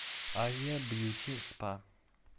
азия бьюти спа